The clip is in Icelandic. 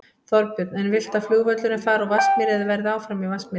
Þorbjörn: En viltu að flugvöllurinn fari úr Vatnsmýri eða verði áfram í Vatnsmýri?